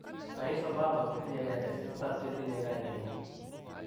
Rais Obama kotinyei reresik tisab che tinyei kainenyi.